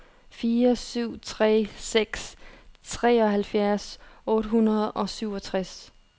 fire syv tre seks treoghalvfjerds otte hundrede og syvogtres